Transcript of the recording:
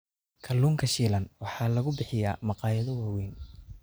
Kalluunka shiilan waxaa lagu bixiyaa maqaayado waaweyn.